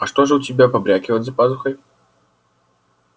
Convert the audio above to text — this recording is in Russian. а что же у тебя побрякивает за пазухой